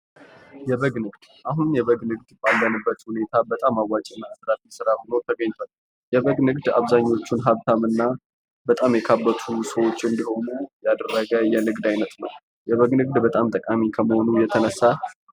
የበግ ንግድ የበግ ንግድ ፦አሁን ባለንበት ሁኔታ በጣም አዋጭ እና አትራፊነት ያለው ስራ ሁኖ ተገኝቷል ።የበግ ንግድ አብዛኛዎቹ ሰዎች ሀብታም እና በጣም የካበቱ ሰዎች እንድሆኑ ያደረገ የንግድ አይነት ነው። የበግ ንግድ በጣም ጠቃሚ ከመሆኑ የተነሳ